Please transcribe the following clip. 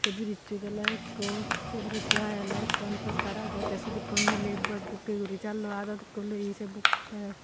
brizeot olay ekko saye brizeow hi olay akkan poster aagay tay swot eko milay bak bukay gori jaloi adot eko olay.